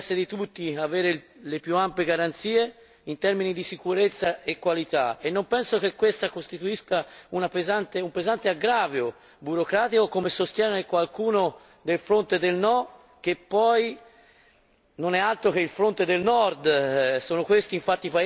Credo sia nell'interesse di tutti avere le più ampie garanzie in termini di sicurezza e qualità e non penso che questo costituisca un pesante aggravio burocratico, come sostiene qualcuno del fronte del no, che poi non è altro che il fronte del Nord.